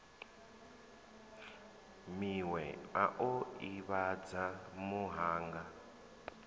miwe a o ivhadza muhanga